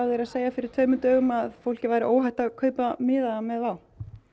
segja fyrir tveimur dögum að fólki væri óhætt að kaupa miða með WOW